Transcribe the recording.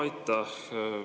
Aitäh!